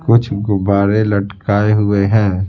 कुछ गुब्बारे लटकाए हुए हैं।